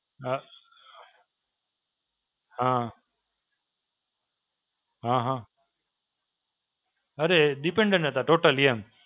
અ, હાં. હાં હાં. અરે Dependent હતાં Totally એમ.